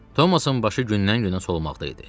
Thomasın başı gündən-günə solmaqda idi.